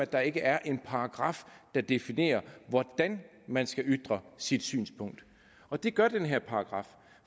der ikke er en paragraf der definerer hvordan man skal ytre sit synspunkt og det gør den her paragraf